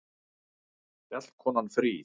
Fjallkonan fríð!